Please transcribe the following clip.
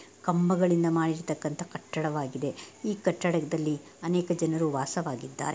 ಕಂಬಗಳಿಂದ ಮಾಡಿರ್ತಕ್ಕಂತ ಕಟ್ಟಡ ವಾಗಿದೆ. ಈ ಕಟ್ಟಡದಲ್ಲಿ ಅನೇಕ ಜನರು ವಾಸವಾಗಿದ್ದಾರೆ.